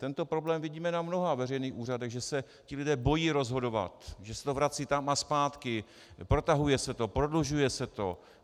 Tento problém vidíme na mnoha veřejných úřadech, že se ti lidé bojí rozhodovat, že se to vrací tam a zpátky, protahuje se to, prodlužuje se to.